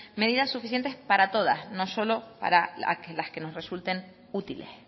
medidas suficientes para todas no solo para las que nos resulten útiles